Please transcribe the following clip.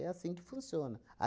É assim que funciona.